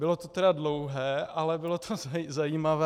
Bylo to tedy dlouhé, ale bylo to zajímavé.